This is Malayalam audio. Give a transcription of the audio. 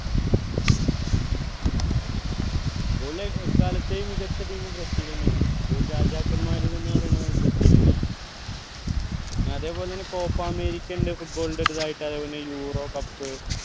football ലെ എക്കാലത്തെയും മികച്ച team ബ്രസീൽഎന്നെയാണ് football രാജാക്കന്മാർ എന്ന പറയണത് ബർസിൽനെയാണ് പിന്നെ അതെ പോലെ തന്നെ copa America ഇണ്ട് football ന്റെ ഒരു ഇതായിട്ട് അതെ പോലെന്നെ Euro cup